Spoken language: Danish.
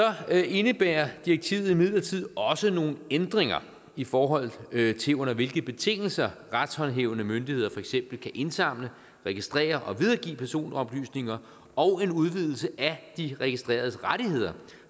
indebærer direktivet imidlertid også nogle ændringer i forhold til under hvilke betingelser retshåndhævende myndigheder for eksempel kan indsamle registrere og videregive personoplysninger og en udvidelse af de registreredes rettigheder